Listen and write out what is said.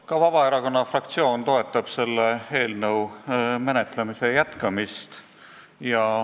Ka Vabaerakonna fraktsioon toetab selle eelnõu menetlemise jätkamist.